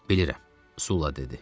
Bilirəm, Sulla dedi.